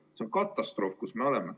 See on katastroof, kus me oleme.